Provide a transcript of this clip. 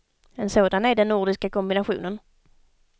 En sådan är den nordiska kombinationen.